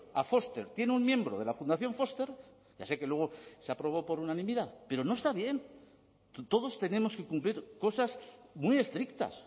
a foster tiene un miembro de la fundación foster ya sé que luego se aprobó por unanimidad pero no está bien todos tenemos que cumplir cosas muy estrictas